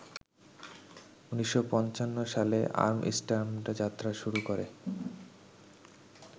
১৯৫৫ সালে আমস্টার্ডামেযাত্রা শুরু করে